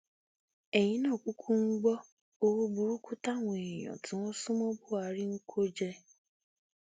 ẹyìn náà kúkú gbọ owó burúkú táwọn èèyàn tí wọn sún mọ buhari ń kó jẹ